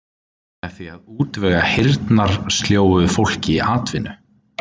Með því að útvega heyrnarsljóu fólki atvinnu.